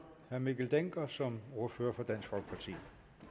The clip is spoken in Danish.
herre mikkel dencker som ordfører for dansk folkeparti